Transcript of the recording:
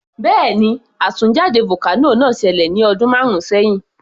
Bẹ́ẹ̀ni, àtúnjáde vocano náà ṣẹlẹ̀ ní ọdún márùn sẹhin